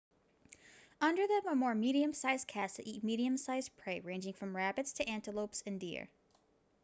under them are more medium sized cats that eat medium sized prey ranging from rabbits to antelopes and deer